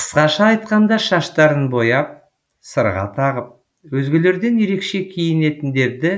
қысқаша айтқанда шаштарын бояп сырға тағып өзгелерден ерекше киінетіндерді